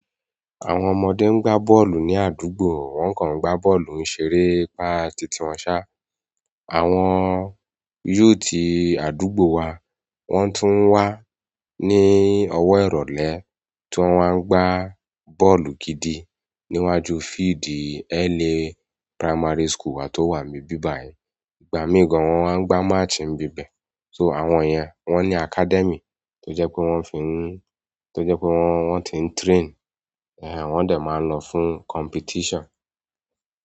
Àwọn ọmọdé ń gbá bọ́ọ̀lù ní àdúgbò, wọ́n kàn ń gbá bọ́ọ̀lù ń ṣerépa titi wọ́n sá. Àwọn youth àdúgbò wa wọ́n tún ń wà ní ọwọ́ ìrọ̀lẹ́ tí wọ́n wa ń gbá bọ́ọ̀lù gidi níwájú fieldí LA Primary School wá tó wà ní ibí bàyí. Ìgbà míì gan wọ́n máa ń gbá match níbì íbẹ. So àwọn yẹn wọn academi to jẹ pe wọn ti n train, wọn dẹ maa n lọwọ fún competition.